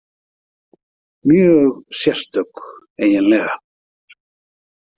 Mjög sérstök, eiginlega.